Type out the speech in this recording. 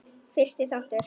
Fyrsti þáttur